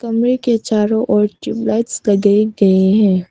कमरे के चारों ओर ट्यूबलाइट्स लगाए गए हैं।